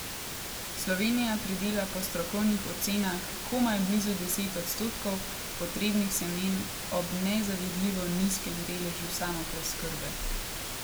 Slovenija pridela po strokovnih ocenah komaj blizu deset odstotkov potrebnih semen ob nezavidljivo nizkem deležu samopreskrbe.